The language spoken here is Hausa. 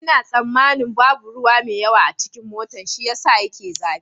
Ina tsammanin babu ruwa mai yawa a cikin motan shi ya sa yake zafi.